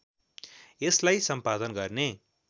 यसलाई सम्पादन गर्ने